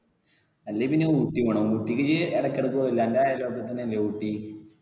അല്ലെ പിന്നെ ഊട്ടി പോണം. ഊട്ടിക്ക് ഇജ്ജ് ഇടക്ക് ഇടക്ക് പോകൂലെ അന്റെ അയൽ പക്കത്ത് തന്നെ അല്ലെ ഊട്ടി?